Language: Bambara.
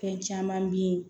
Fɛn caman bɛ yen